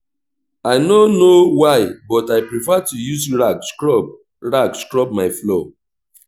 i no know why but i prefer to use rag scrub rag scrub my floor